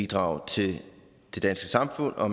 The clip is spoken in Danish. bidrage til det danske samfund og